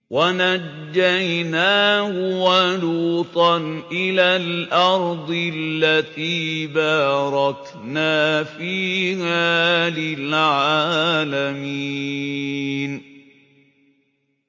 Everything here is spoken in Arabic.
وَنَجَّيْنَاهُ وَلُوطًا إِلَى الْأَرْضِ الَّتِي بَارَكْنَا فِيهَا لِلْعَالَمِينَ